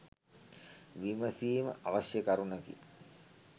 විමසීම අවශ්‍ය කරුණකි